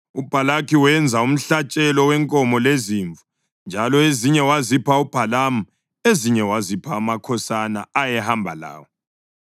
UBhalaki wenza umhlatshelo wenkomo lezimvu, njalo ezinye wazipha uBhalamu ezinye wazipha amakhosana ayehamba lawo.